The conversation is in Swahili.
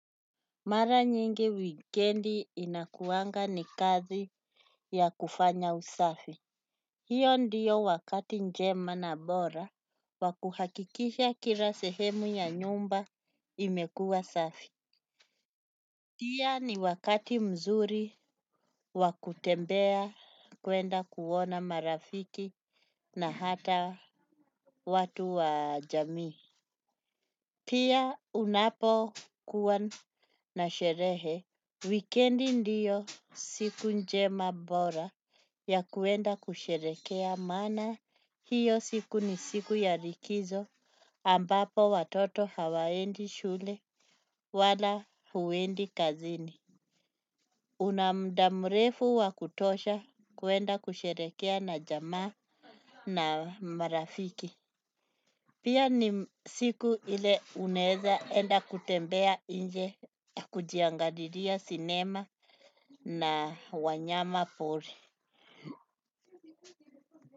Mara nyingi wikendi inakuanga ni kazi ya kufanya usafi. Hio ndiyo wakati njema na bora wa kuhakikisha kila sehemu ya nyumba imekua safi. Pia ni wakati mzuri wa kutembea kwenda kuona marafiki na hata watu wa jami. Pia unapokuwa na sherehe wikendi ndiyo siku niema bora maana iyo mi siku ya likizo ambapo watoto hawaendi shule wala huendi kazini. Una muda mrefu wa kutosha kuenda kusherekea na jamaa na marafiki. Pia ni siku ile uneza enda kutembea nje kujiangalilia sinema na wanyama pori.